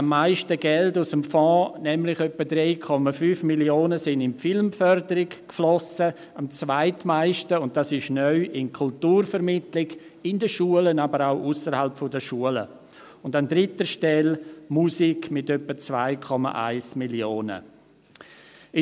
Am meisten Geld aus dem Fonds, nämlich etwa 3,5 Mio. Franken, flossen in die Filmförderung, am zweitmeisten – und das ist neu – in die Kulturvermittlung in den Schulen, aber auch ausserhalb der Schulen, und an dritter Stelle kommt die Musik mit etwa 2,1 Mio. Franken.